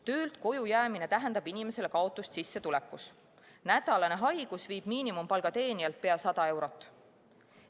Töölt koju jäämine tähendab inimesele kaotust sissetulekus, nädalane haigus viib miinimumpalga teenijalt ligi 100 eurot.